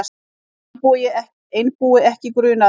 Einbúi ekki grunaður